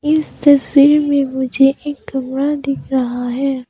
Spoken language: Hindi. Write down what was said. इस तस्वीर में मुझे एक कमरा दिख रहा है।